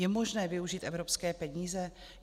Je možné využít evropské peníze?